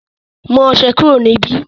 mú ọṣẹ kúrò níbí